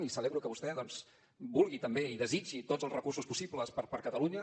i celebro que vostè doncs vulgui també i desitgi tots els recursos possibles per a catalunya